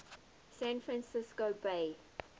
san francisco bay